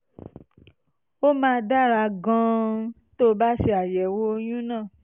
ó máa dára gan-an tó o bá ṣe àyẹ̀wò ọyún náà